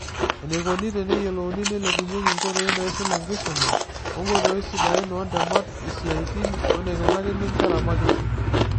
Eneikoni teneyiolouni neilepunyeki nkoitoi naisul enkisuma, oonkoitoi sidain oontemat, isiatin weneikunakini nkera makisi.